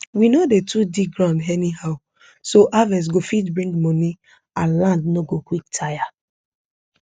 we no dey too dig ground anyhow so harvest go fit bring money and land no go quick tire